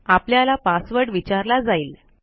आपल्याला पासवर्ड विचारला जाईल